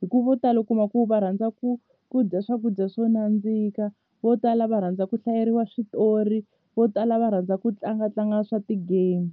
hikuva vo tala u kuma ku va rhandza ku ku dya swakudya swo nandzika vo tala va rhandza ku hlayeriwa switori vo tala va rhandza ku tlangatlanga swa ti-game.